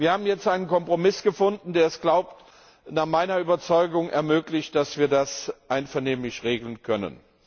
Wir haben jetzt einen Kompromiss gefunden, der es nach meiner Überzeugung ermöglicht, dass wir das einvernehmlich regeln können.